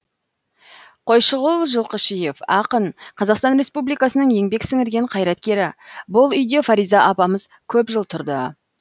қойшығұл жылқышиев ақын қазақстан республикасының еңбек сіңірген қайраткері бұл үйде фариза апамыз көп жыл тұрды